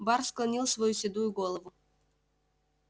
бар склонил свою седую голову